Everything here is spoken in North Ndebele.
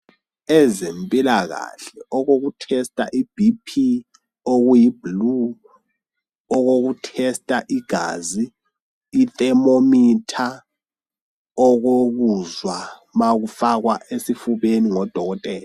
Ezempilakahle okokuthesta ibhiphi okuyi blue okoku thesta igazi ithermometer, okokuzwa ma kufakwa esifubeni ngodokotela.